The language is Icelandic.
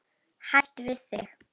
Hætt við þig.